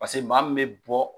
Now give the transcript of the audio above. Paseke maa min bɛ bɔ